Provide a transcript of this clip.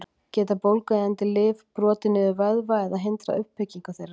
Geta bólgueyðandi lyf brotið niður vöðva eða hindrað uppbyggingu þeirra?